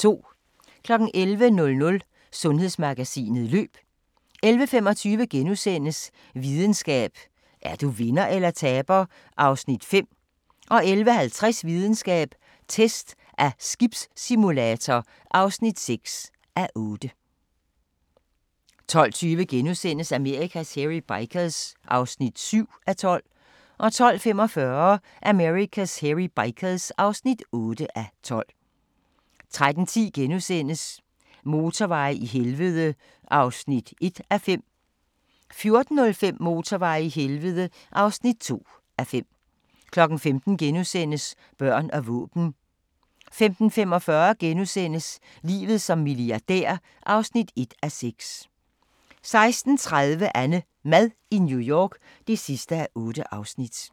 11:00: Sundhedsmagasinet: Løb 11:25: Videnskab: Er du vinder eller taber (5:8)* 11:50: Videnskab: Test af skibssimulator (6:8) 12:20: Amerikas Hairy Bikers (7:12)* 12:45: Amerikas Hairy Bikers (8:12) 13:10: Motorveje i helvede (1:5)* 14:05: Motorveje i helvede (2:5) 15:00: Børn og våben * 15:45: Livet som milliardær (1:6)* 16:30: AnneMad i New York (8:8)